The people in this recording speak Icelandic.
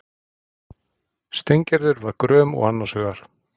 Steingerður var gröm og annars hugar.